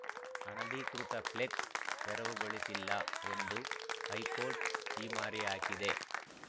ಅನಧಿಕೃತ ಫ್ಲೆಕ್ಸ್‌ ತೆರವುಗೊಳಿಸಿಲ್ಲ ಎಂದು ಹೈಕೋರ್ಟ್‌ ಛೀಮಾರಿ ಹಾಕಿದೆ